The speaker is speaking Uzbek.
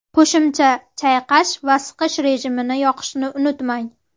Qo‘shimcha chayqash va siqish rejimini yoqishni unutmang.